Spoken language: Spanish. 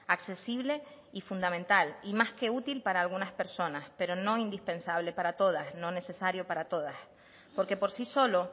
accesible y fundamental y más que útil para algunas personas pero no indispensable para todas no necesario para todas porque por sí solo